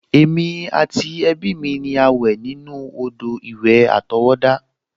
Èmi àti ẹbí mi ni a wẹ̀ nínú odò-ìwẹ̀ àtọwọ́dá